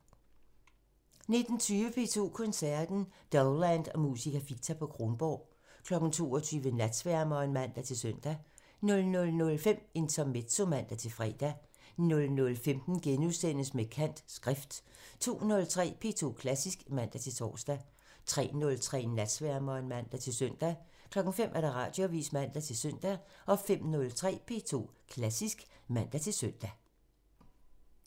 19:20: P2 Koncerten – Dowland og Musica Ficta på Kronborg 22:00: Natsværmeren (man-søn) 00:05: Intermezzo (man-fre) 00:15: Med kant – Skrift * 02:03: P2 Klassisk (man-tor) 03:03: Natsværmeren (man-søn) 05:00: Radioavisen (man-søn) 05:03: P2 Klassisk (man-søn)